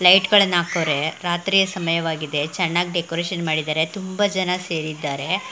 light ಗಳನ್ನ ಹಾಕವ್ರೆ ರಾತ್ರಿಯ ಸಮಯವಾಗಿದೆ ಚೆನ್ನಾಗ್ ಡೆಕೋರೇಷನ್ ಮಾಡಿದ್ದಾರೆ ತುಂಬಾ ಜನ ಸೇರಿದ್ದಾರೆ --